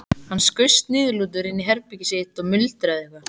Hann skaust niðurlútur inn í herbergið sitt og muldraði eitthvað.